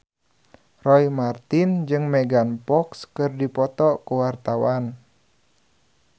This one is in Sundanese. Roy Marten jeung Megan Fox keur dipoto ku wartawan